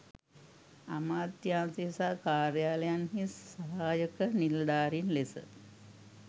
අමාත්‍යාංශ සහ කාර්යාලයන්හි සහායක නිළධාරීන් ලෙස